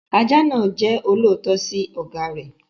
Ajá náà jẹ́ olóòótọ́ sí ọ̀gá rẹ̀.